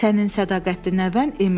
Sənin sədaqətli nəvən Emil.